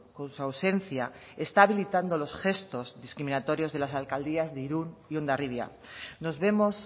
con su ausencia está habilitando los gestos discriminatorios de las alcaldías de irun y hondarribia nos vemos